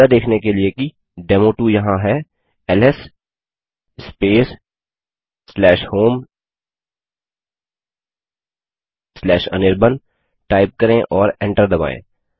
यह देखने के लिए कि डेमो2 यहाँ है एलएस स्पेस homeanirban टाइप करें और एंटर दबायें